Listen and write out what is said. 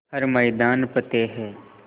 हर मैदान फ़तेह